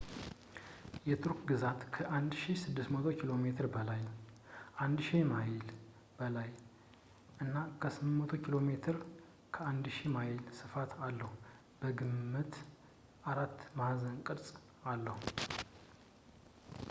የቱርክ ግዛት ከ 1,600 ኪ.ሜ በላይ 1,000 ማይል በላይ እና 800 ኪ.ሜ 500 ማይል ስፋት አለው ፣ በግምት አራት ማዕዘን ቅርፅ አለው